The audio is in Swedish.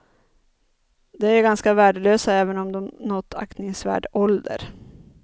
De är ganska värdelösa även om de nått aktingsvärd ålder.